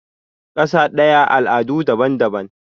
kasa daya al'adu daban-daban